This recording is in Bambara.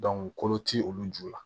kolo tɛ olu ju la